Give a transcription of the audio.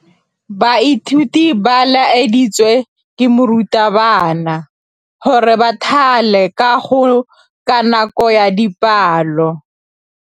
Baithuti ba laeditswe ke morutabana gore ba thale kagô ka nako ya dipalô.